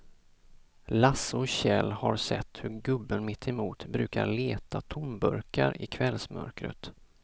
Lasse och Kjell har sett hur gubben mittemot brukar leta tomburkar i kvällsmörkret.